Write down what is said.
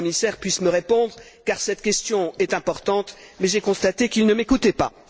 le commissaire puisse me répondre car cette question est importante, mais j'ai constaté qu'il ne m'écoutait pas.